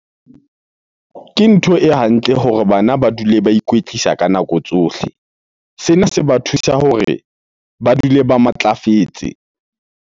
Ke ntho e hantle hore bana ba dule ba ikwetlisa ka nako tsohle. Sena se ba thusa hore ba dule ba matlafetse.